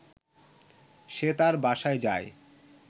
সে তার বাসায় যায়